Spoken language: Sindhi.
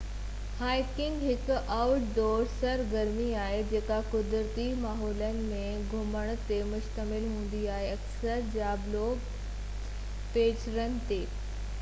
هائيڪنگ هڪ آئوٽ ڊور سرگرمي آهي جيڪا قدرتي ماحولن ۾ گھمڻ تي مشتمل هوندي آهي اڪثر جابلو پيچرن تي